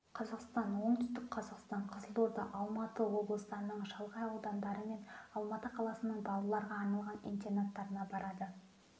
қазақстан оңтүстік қазақстан қызылорда алматы облыстарының шалғай аудандары мен алматы қаласының балаларға арналған интернаттарына барады